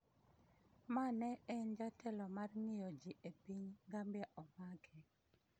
ma ne en jatelo mar ng'iyo ji e piny Gambia omake